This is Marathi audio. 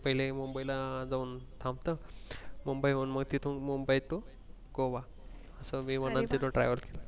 पहिले मुंबई ला जाऊन थांबत मग मुंबईहून मग तिथून मुंबई to गोवा असं विमानांनी travel